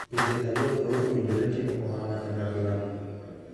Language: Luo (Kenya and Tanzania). Pinje ariyo koro owinjore timo ohala kanyakla